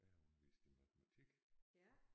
Jeg har undervist i matematik